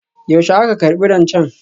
Yaushe aka karbi rancen?